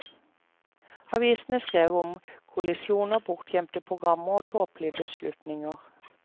Avisene skrev om kollisjoner, bortgjemte programmer og tåpelige beslutninger.